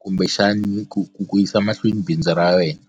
kumbexani ku ku ku yisa mahlweni bindzu ra wena.